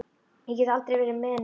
Ég get aldrei verið með í neinu.